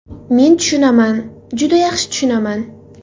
Men tushunaman, juda yaxshi tushunaman.